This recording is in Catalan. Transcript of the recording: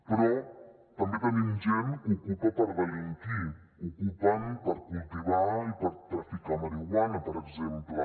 però també tenim gent que ocupa per delinquir ocupen per cultivar i per traficar marihuana per exemple